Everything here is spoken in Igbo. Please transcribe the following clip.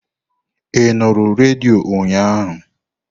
Ị nụrụ redio ụnyaahụ?